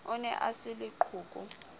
o ne a se leqhoko